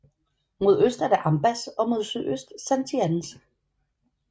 Mod øst er det Ambás og mod sydøst Santianes